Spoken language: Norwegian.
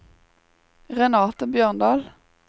Renate Bjørndal